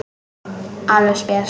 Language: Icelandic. Alveg spes.